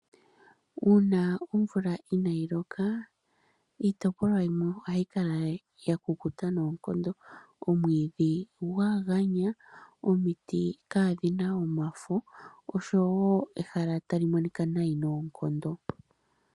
Uuna omvula inaayi loka iitopolwa yimwe ohayi kala ya kukuta noonkondo, omwiidhi gwa ganya, omiti ka dhi na omafo oshowoo ehala ta li monika nayi noonkondo.